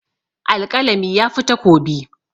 Alƙalami yafi takobi.